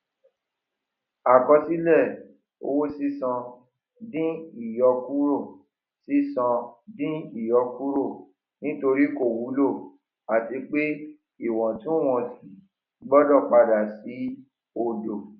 àkọsílẹ owó sísan di ìyọkúrò sísan di ìyọkúrò nítorí kò wúlò àti pé ìwọtúnwọsí gbọdọ padà sí odò